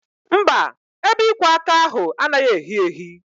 Mba, ebe ịkwọ aka ahụ anaghị ehi ehi